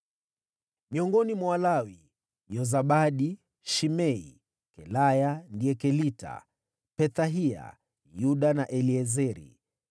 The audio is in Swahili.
Miongoni mwa Walawi: Yozabadi, Shimei, Kelaya (ndiye Kelita), Pethahia, Yuda na Eliezeri.